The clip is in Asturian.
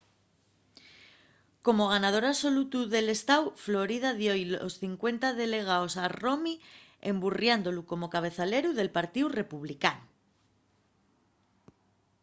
como ganador absolutu del estáu florida dio-y los sos cincuenta delegaos a romney emburriándolu como cabezaleru del partíu republicanu